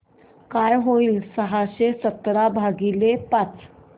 काय होईल सहाशे सतरा भागीले पाच